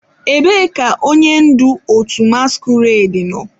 Ebee ka onye ndu otu masquerade nọ?